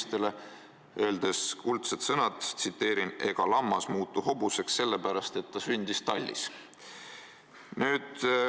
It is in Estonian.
Ta ütles kuldsed sõnad: "Ega lammas muutu hobuseks selle pärast, et ta sündis tallis.